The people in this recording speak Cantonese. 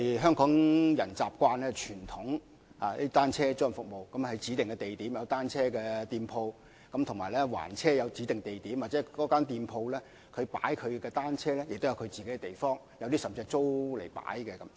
香港人習慣使用的傳統單車租賃服務，是在指定地點設有單車租賃店鋪，亦有指定地點還車，而有關店鋪亦自設地方擺放單車，甚至會租用地方停車。